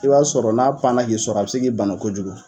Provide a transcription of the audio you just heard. I b'a sɔrɔ n'a panna k'i sɔrɔ a bɛ se k'i bana kojugu